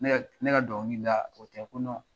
Ne ka dɔnkili da o tɛ ko